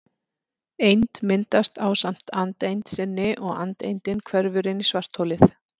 Eind myndast ásamt andeind sinni og andeindin hverfur inn í svartholið.